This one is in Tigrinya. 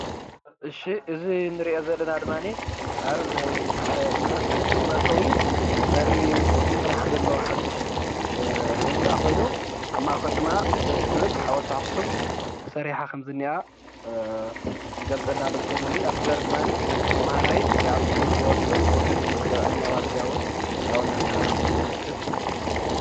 እዚ እንሪኦ ዘለና ድማ ኣብ ናይ ዩኒቨርስቲ ኣክሱም መእተዊ በሪ ዝስራሕ ዘሎ ሓዱሽ ህንፃ ኮይኑ ኣብ ማእከሉ ድማ ደስ ዝብል ኣወልቲ ኣክሱም ተሰሪሓ ከምዝኒኣ ይገልፀልና ኣሎ፡፡ ኣብቲ በሪ እዚ ድማ ተማሃራይ ይኣቱ ይወፅእ እቶም ዘብዐኛ ኣብኡ እናሰርሑ ከም ዘለዉ የመልክት፡፡